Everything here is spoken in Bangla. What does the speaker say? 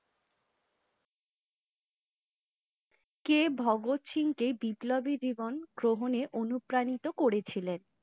কে ভাগত সিংহ কে বিপ্লবী জীবন গ্রহণে অনুপ্রাণিত করে ছিলেন?